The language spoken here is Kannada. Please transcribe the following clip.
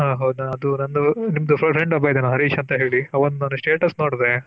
ಹ ಹೌದ ಅದು ನಂದು ನಿಮದು Friend ಒಬ್ಬ ಇದ್ದಲ್ಲ ಹರೀಶ್ ಅಂತೆ ಹೇಳಿ ಅವಂದು ಒಂದು status ನೋಡಿದೆ.